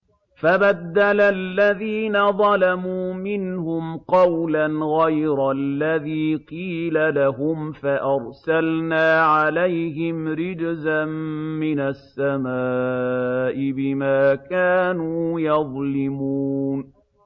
فَبَدَّلَ الَّذِينَ ظَلَمُوا مِنْهُمْ قَوْلًا غَيْرَ الَّذِي قِيلَ لَهُمْ فَأَرْسَلْنَا عَلَيْهِمْ رِجْزًا مِّنَ السَّمَاءِ بِمَا كَانُوا يَظْلِمُونَ